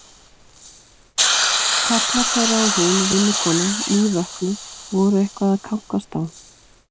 Karlar þeirra og hún, vinnukonan, nývöknuð, voru eitthvað að kankast á.